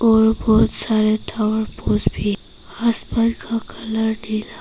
और बहुत सारे फूस भी आसमान का कलर नीला है।